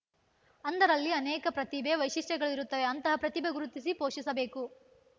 ಅಂಧರಲ್ಲಿ ಅನೇಕ ಪ್ರತಿಭೆ ವೈಶಿಷ್ಟ್ಯಗಳಿರುತ್ತವೆ ಅಂತಹ ಪ್ರತಿಭೆ ಗುರುತಿಸಿ ಪೋಷಿಸಬೇಕು